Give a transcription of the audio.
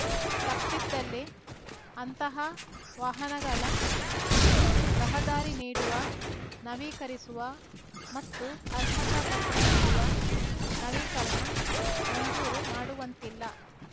ತಪ್ಪಿದ್ದಲ್ಲಿ ಅಂತಹ ವಾಹನಗಳ ರಹದಾರಿ ನೀಡುವ ನವೀಕರಿಸುವ ಮತ್ತು ಅರ್ಹತಾ ಪತ್ರ ನೀಡುವ ನವೀಕರಣ ಮಂಜೂರು ಮಾಡುವಂತಿಲ್ಲ